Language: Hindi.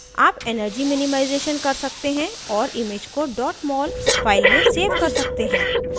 आप energy minimization कर सकते हैं और image को dot mol file में सेव कर सकते हैं